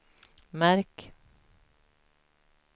märk